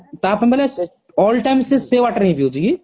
ତା ପାଇଁ ମାନେ all time ସେ ସେ water ହି ପିୟୁଛି କି